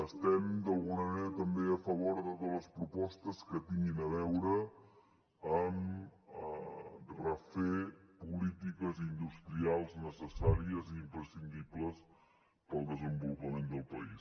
estem d’alguna manera també a favor de les propostes que tinguin a veure amb refer polítiques industrials necessàries i imprescindibles per al desenvolupament del país